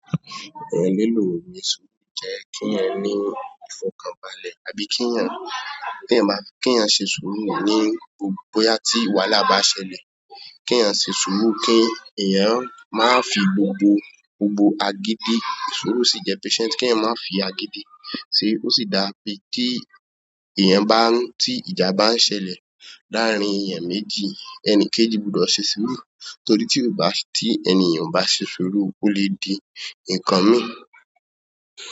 Èèyàn lílò ni ṣúù jẹ́ kí èèyàn ní ìfọ̀kànbalẹ̀ àbí kí èèyàn, kí èèyàn báti, kí èèyàn ṣe ṣúùrù ní gbogbo bóyá tí wàhálà bá ṣẹlẹ̀. Kí èèyàn ṣe sùúrù kí èèyàn má fi gbogbo, gbogbo agídí, sùúrù sì jẹ́ patient. Kí èèyàn má fi agídí, ṣe ó sì dá pé kí èèyàn bá ń, tí ìjà bá ń ṣẹlẹ̀ láàárín èèyàn méjì, ẹni kejì gbúdọ̀ ṣe sùúrù torí tí ó bá, tí ẹnìyẹn ò bá ṣe sùúrù, ó lè di nǹkan mí.